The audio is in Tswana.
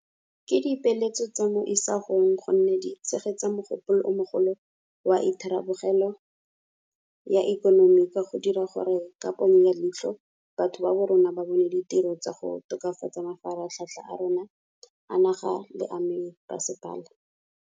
Ke dipeeletso tsa mo isagong gonne di tshegetsa mogopolo o mogolo wa itharabologelo ya ikonomi ka go dira gore ka ponyo ya leitlho batho ba borona ba bone ditiro tsa go tokafatsa mafaratlhatlha a rona a naga le a mebasepala.